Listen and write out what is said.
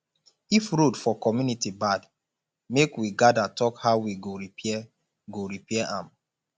if road for community bad make we gather talk how we go repair go repair am